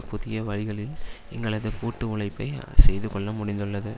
புதிய வழிகளில் எங்களது கூட்டு உழைப்பை செய்துகொள்ள முடிந்துள்ளது